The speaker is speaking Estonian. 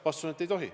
Vastus on, et ei tohi.